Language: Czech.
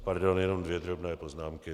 Pardon, jenom dvě drobné poznámky.